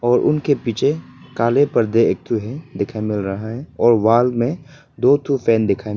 और उनके पीछे काले पर्दे एक ठो है दिखाई मिल रहा है और वाल में दो ठो फैन दिखाई --